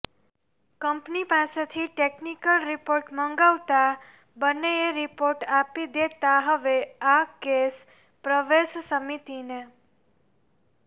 company પાસેથી technical report મંગાવતા બન્નેએ રિપોર્ટ આપી દેતાં હવે આ કેસ પ્રવેશ સમિતિને